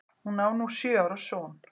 Hún á nú sjö ára son.